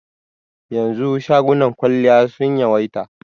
Yanzu shagunan kwalliya sun yawaita.